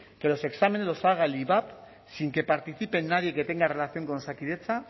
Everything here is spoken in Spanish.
que los exámenes lo haga el ivap sin que participe nadie que tenga relación con osakidetza